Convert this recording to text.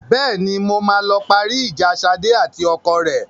Bẹ́ẹ̀ni, mo máa lọ parí ìjà Ṣadé àti ọkọ rẹ.